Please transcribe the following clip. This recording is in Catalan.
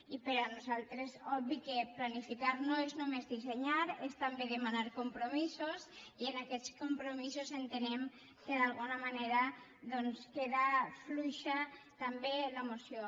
i per a nosaltres obvi que planificar no és només dissenyar és també demanar compromisos i en aquests compromisos entenem que d’alguna manera doncs queda fluixa també la moció